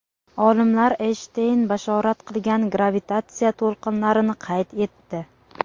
Olimlar Eynshteyn bashorat qilgan gravitatsiya to‘lqinlarini qayd etdi.